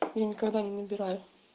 я никогда не набираю